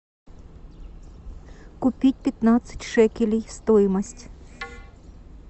купить пятнадцать шекелей стоимость